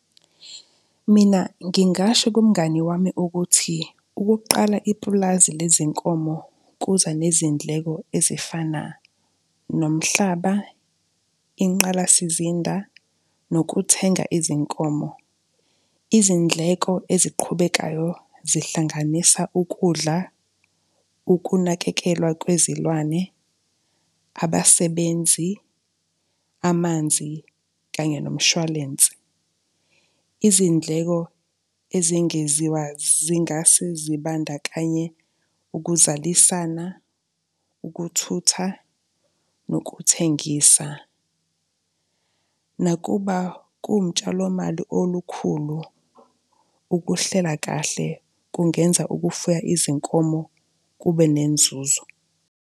Mina ngingasho kumngani wami ukuthi ukuqala ipulazi lezinkomo kuza nezindleko ezifana nomhlaba, inqalasizinda nokuthenga izinkomo. Izindleko eziqhubekayo zihlanganisa ukudla, ukunakekelwa kwezilwane, abasebenzi, amanzi kanye nomshwalense. Izindleko ezengeziwa zingase zibandakanye ukuzalisana, ukuthutha nokuthengisa. Nakuba kuwumtshalomali olukhulu, ukuhlela kahle kungenza ukufuya izinkomo kube nenzuzo.